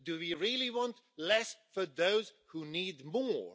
Do we really want less for those who need more?